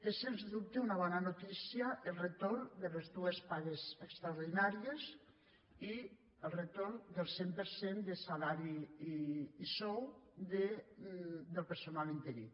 és sens dubte una bona notícia el retorn de les dues pagues extraordinàries i el retorn del cent per cent de salari i sou del personal interí